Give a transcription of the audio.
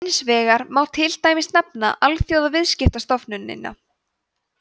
hins vegar má til dæmis nefna alþjóðaviðskiptastofnunina